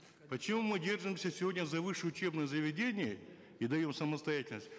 почему мы держимся сегодня за высшие учебные заведения и даем самостоятельность